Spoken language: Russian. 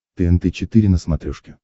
тнт четыре на смотрешке